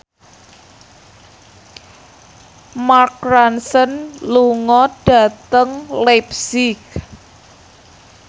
Mark Ronson lunga dhateng leipzig